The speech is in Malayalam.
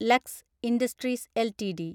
lux industries LTD